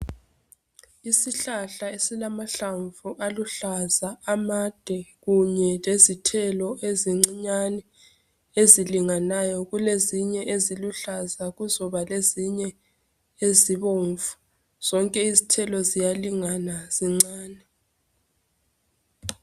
Isihlahla esilama hlamvu aluhlaza amade kunye lezithelo ezincinyane ezilinganayo. Kulezinye eziluhlaza. Kuzoba lezinye ezibomvu. Zonke izithelo ziyalingana zincane.